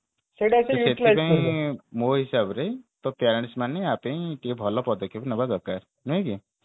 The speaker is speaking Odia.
ସେଥିପାଇଁ ମୋ ହିସାବରେ ତ parents ମାନେ ୟାପେଇଁ ଟିକେ ଭଲ ପଦକ୍ଷେପ ନେବା ଦରକାର ନୁହେଁ କି